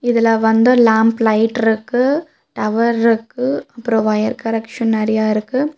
இதுல வந்து லாம்ப் லைட்ருக்கு டவர்ருக்கு அப்றோ ஒயர் கரெக்ஷன் நெறையாருக்கு.